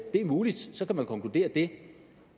er muligt så kan man konkludere det